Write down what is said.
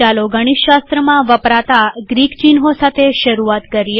ચાલો ગણિતશાસ્ત્રમાં વપરાતા ગ્રીક ચિહ્નો સાથે શરૂઆત કરીએ